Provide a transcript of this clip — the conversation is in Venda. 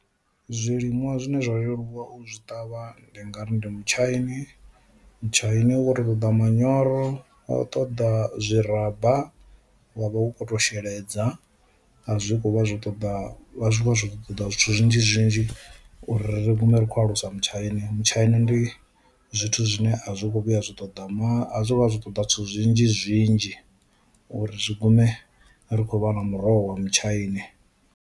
Zwiliṅwa zwine zwo leluwa u zwi ṱavha ndi nga ri ndi mutshaini, mutshaini wo ri ṱoḓa manyoro wa ṱoḓa zwi raba wa vha hu khou ṱo sheledza a zwi khovha zwi ṱoḓa vha ṱoḓa zwithu zwinzhi zwinzhi uri ri vhuye ri kho alusa mutshaini mutshaina ndi zwithu zwine a zwi kho vhuya zwi ṱoḓa maḓi a zwo vha zwi ṱoḓa zwithu zwinzhi zwinzhi uri zwi gume ri khou vha na muroho wa mutshaini.